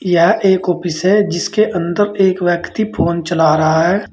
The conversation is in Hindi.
यह एक ऑफिस है जिसके अंदर एक व्यक्ति फोन चला रहा है।